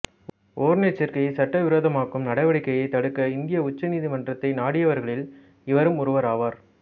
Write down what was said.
ஓரினச்சேர்க்கையை சட்டவிரோதமாக்கும் நடவடிக்கையைத் தடுக்க இந்திய உச்ச நீதிமன்றத்தை நாடியவர்களில் இவரும் ஒருவர் ஆவார்